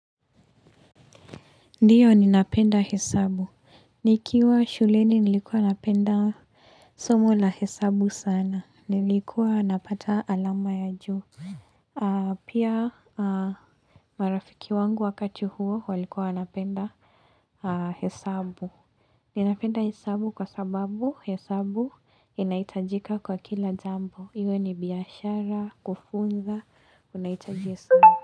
Ndio, ninapenda hesabu. Nikiwa shuleni, nilikuwa napenda somo la hesabu sana. Nilikuwa napata alama ya juu aaaa Pia aaaaa, marafiki wangu wakati huo, walikuwa wanapenda aaaa hesabu. Ninapenda hesabu kwa sababu hesabu inahitajika kwa kila jambo. Iwe ni biashara, kufunza, unahitaji sa.